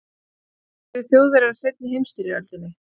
hvernig töpuðu þjóðverjar seinni heimsstyrjöldinni